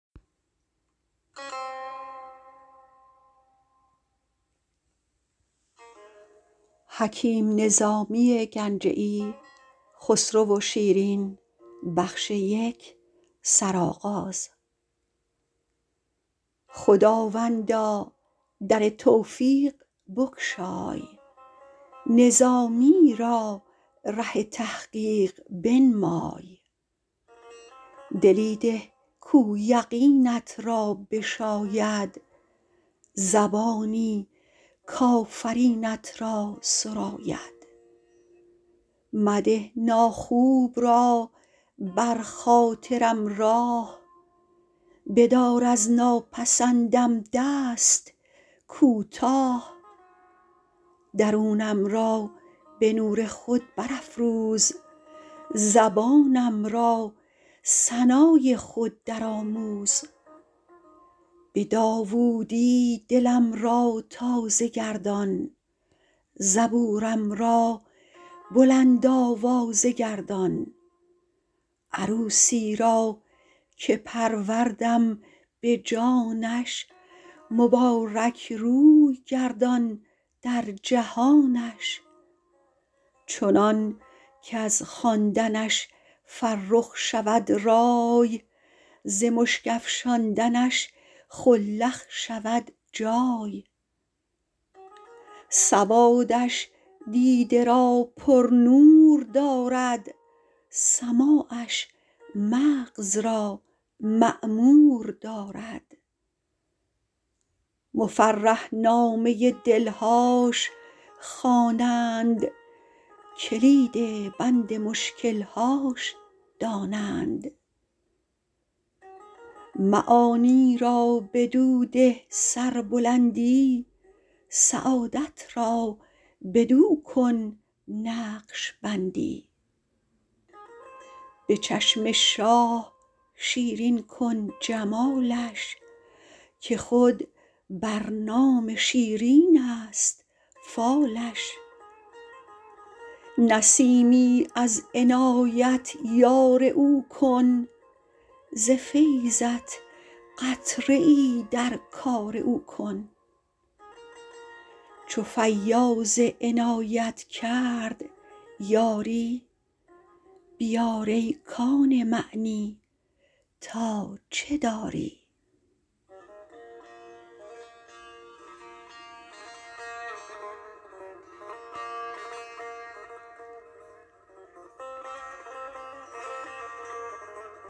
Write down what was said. خداوندا در توفیق بگشای نظامی را ره تحقیق بنمای دلی ده کاو یقینت را بشاید زبانی کآفرینت را سراید مده ناخوب را بر خاطر م راه بدار از ناپسند م دست کوتاه درونم را به نور خود برافروز زبانم را ثنا ی خود درآموز به داوود ی دلم را تازه گردان زبور م را بلند آوازه گردان عروسی را که پروردم به جانش مبارک روی گردان در جهانش چنان کز خواندنش فرخ شود رای ز مشک افشاندنش خلخ شود جای سواد ش دیده را پرنور دارد سماعش مغز را معمور دارد مفرح نامه دلهاش خوانند کلید بند مشکل هاش دانند معانی را بدو ده سربلندی سعادت را بدو کن نقش بندی به چشم شاه شیرین کن جمالش که خود بر نام شیرین است فالش نسیمی از عنایت یار او کن ز فیضت قطره ای در کار او کن چو فیاض عنایت کرد یاری بیار ای کان معنی تا چه داری